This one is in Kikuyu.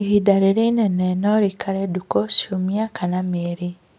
Ihinda rĩrĩ inini norĩikare ndukũ, ciumia kana mĩeri